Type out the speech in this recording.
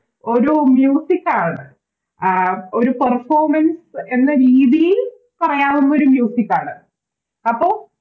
ഒരു Music ആണ് ആഹ് ഒര് Performance എന്ന രീതിയിൽ പറയാവുന്നൊരു Music ആണ്